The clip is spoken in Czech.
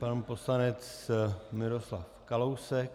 Pan poslanec Miroslav Kalousek.